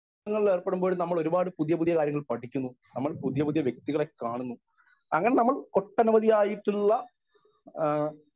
speaker 1 വിനോദങ്ങളിൽ ഏർപ്പെടുമ്പോൾ നമ്മളൊരുപാട് പുതിയ പുതിയ കാര്യങ്ങൾ പഠിക്കുന്നു നമ്മൾ പുതിയ പുതിയ വ്യക്തികളെ കാണുന്നു അങ്ങനെ നമ്മൾ ഒട്ടനവധി ആയിട്ടുള്ള ആ